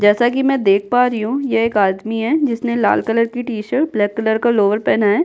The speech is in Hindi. जैसा कि मैं देख पा रही हूँ ये एक आदमी है जिसने लाल कलर की टी-शर्ट ब्लैक कलर का लोवर पहना है।